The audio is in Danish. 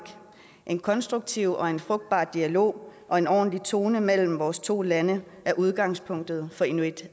en konstruktiv og frugtbar dialog og en ordentlig tone mellem vores to lande er udgangspunktet for inuit